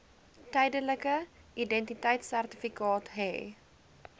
tydelike identiteitsertifikaat hê